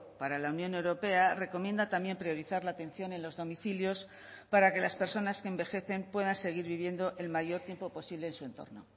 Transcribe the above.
para la unión europea recomienda también priorizar la atención en los domicilios para que las personas que envejecen puedan seguir viviendo el mayor tiempo posible en su entorno